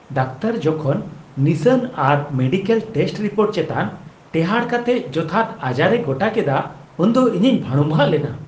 Doctor ᱡᱚᱠᱷᱚᱱ ᱱᱤᱥᱟᱹᱱ ᱟᱨ ᱢᱮᱰᱤᱠᱮᱞ ᱴᱮᱥᱴ ᱨᱤᱯᱳᱨᱴ ᱪᱮᱛᱟᱱ ᱴᱮᱦᱟᱸᱴ ᱠᱟᱛᱮ ᱡᱚᱛᱷᱟᱛ ᱟᱡᱟᱨ ᱮ ᱜᱚᱴᱟ ᱠᱮᱫᱟ ᱩᱱᱫᱚ ᱤᱧᱤᱧ ᱵᱷᱟᱹᱲᱩᱢᱵᱷᱟᱜᱽ ᱞᱮᱱᱟ ᱾